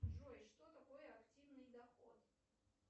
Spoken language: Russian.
джой что такое активный доход